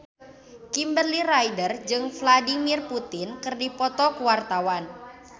Kimberly Ryder jeung Vladimir Putin keur dipoto ku wartawan